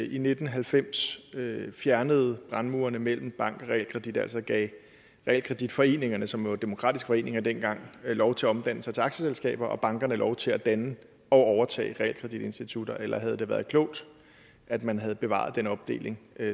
i nitten halvfems fjernede brandmurene mellem bank og realkredit altså gav realkreditforeningerne som jo var demokratiske foreninger dengang lov til at omdanne sig til aktieselskaber og gav bankerne lov til at danne og overtage realkreditinstitutter eller havde det været klogt at man havde bevaret den opdeling